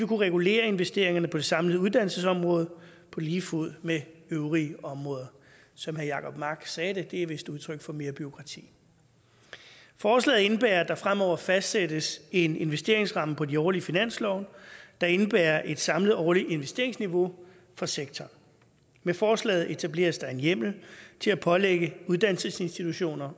kunne regulere investeringerne på det samlede uddannelsesområde på lige fod med øvrige områder som herre jacob mark sagde det det er vist udtryk for mere bureaukrati forslaget indebærer at der fremover fastsættes en investeringsramme på de årlige finanslove der indebærer et samlet årligt investeringsniveau for sektoren med forslaget etableres der en hjemmel til at pålægge uddannelsesinstitutioner